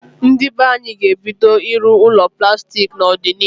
Ndị be anyị ga-ebido ịrụ ụlọ plastik n'odịnihu